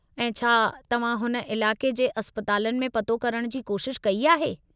ऐं छा तव्हां हुन इलाक़े जे अस्पतलानि में पतो करण जी कोशिश कई आहे?